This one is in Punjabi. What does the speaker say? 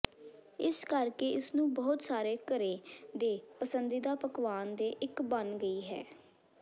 ਇਸ ਕਰਕੇ ਇਸ ਨੂੰ ਬਹੁਤ ਸਾਰੇ ਘਰੇ ਦੇ ਪਸੰਦੀਦਾ ਪਕਵਾਨ ਦੇ ਇੱਕ ਬਣ ਗਈ ਹੈ